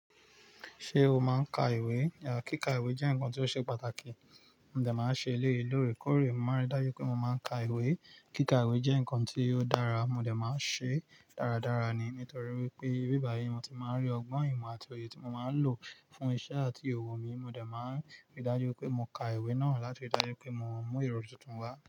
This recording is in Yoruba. Ṣé o máa ń ka iwe? Kíkà ìwé jẹ́ nǹkan ti ó ṣe pàtàkì. Mò dẹ máa ń ṣe eléyìí lóòrèkóòrè. Mo máa ń rí dájú pé mo máa ń ka ìwé. Kíkà ìwé jẹ́ nǹkan tí ò dára, mo dè máa ṣe. Daradara ni, nítorí wípé nibíbàyí ni mo ti máa ń rí ọgbọ́n, ìmọ̀ àti òye tí mo máa ń lò fún iṣẹ́ àti ìhòòhò mi. Mò dé máa ń rí dájú pé mo ka ìwé náà láti rí dájú pé mo mú èrò tuntun wá.